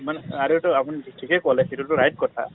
আৰু টো আপুনি ঠিকে কলে সেইটো right কথা